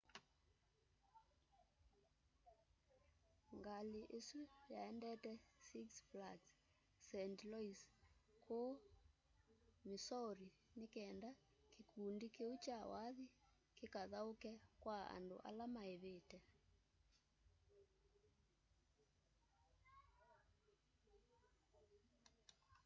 ngalĩ ĩsũ yaendete six flags st louis kũũ missouri nĩ kenda kĩkũndĩ kĩũ kya wathĩ kĩkathaũke kwa andũ ala maĩvĩte